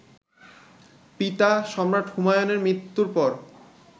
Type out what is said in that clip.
পিতা, সম্রাট হুমায়ুনের মৃত্যুর পর